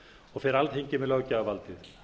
og fer alþingi með löggjafarvaldið